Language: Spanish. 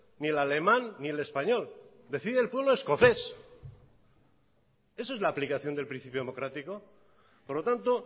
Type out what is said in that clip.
ni el alemán ni el español decide el pueblo escocés eso es la aplicación del principio democrático por lo tanto